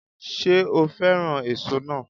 Ṣé o fẹ́ràn èso náà